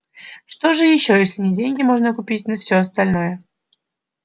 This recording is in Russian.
что же ещё если на деньги можно купить на всё остальное